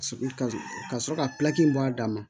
Ka sɔrɔ ka bɔ a da ma